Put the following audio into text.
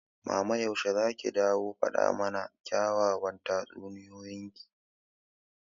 mama yaushe zaki dawo faɗa mana kyawawan tatsuniyoyin ki?